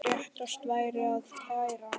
Réttast væri að kæra þetta.